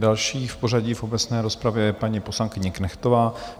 Další v pořadí v obecné rozpravě je paní poslankyně Knechtová.